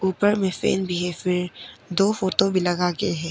ऊपर में फैन भी है फिर दो फोटो भी लगा के है।